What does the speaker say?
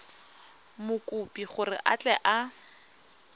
mokopi gore a tle a